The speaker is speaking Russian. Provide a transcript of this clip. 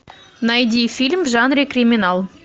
найди фильм в жанре криминал